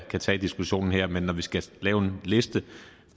tage diskussionen her men når vi skal lave en liste